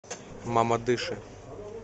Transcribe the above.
мамадыше